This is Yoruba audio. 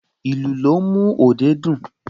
Ìlù ló ń mú òde dùn